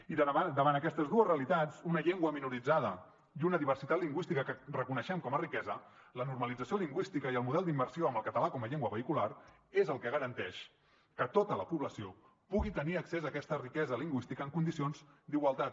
i davant aquestes dues realitats una llengua minoritzada i una diversitat lingüística que reconeixem com a riquesa la normalització lingüística i el model d’immersió amb el català com a llengua vehicular és el que garanteix que tota la població pugui tenir accés a aquesta riquesa lingüística en condicions d’igualtat